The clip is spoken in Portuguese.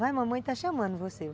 Vai, mamãe está chamando você.